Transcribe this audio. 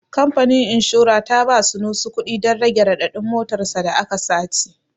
Kamfanin inshora ta ba Sunusi kuɗi don rage raɗaɗin motar sa da aka sace.